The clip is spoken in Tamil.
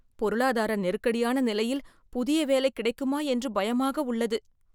பொருளாதார நெருக்கடியான நிலையில் புதிய வேலை கிடைக்குமா என்று பயமாக உள்ளது.